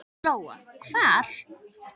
Lóa: Hvar?